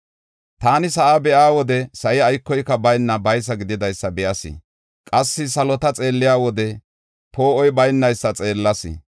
“Taani sa7aa be7iya wode, sa7i aykoyka bayna baysa gididaysa be7as. Qassi salota xeelliya wode, poo7oy baynaysa xeellas.